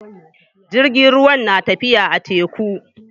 Jirgin ruwan na tafiya a teku.